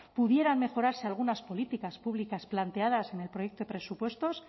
pudiera mejorarse algunas políticas públicas planteadas en el proyecto de presupuestos